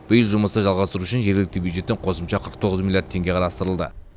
биыл жұмысты жалғастыру үшін жергілікті бюджеттен қосымша қырық тоғыз миллиард теңге қарастырылды